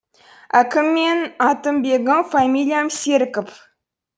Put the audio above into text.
әкім мен атым бегім фамилиям серіков